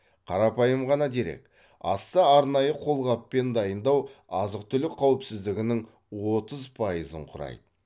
қарапайым ғана дерек асты арнайы қолғаппен дайындау азық түлік қауіпсіздігінің отыз пайызын құрайды